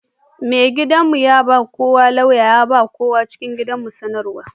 Mai gidan' mu ya kawo lauya ya ba ma kowa a cikin gidan bar sanarwa.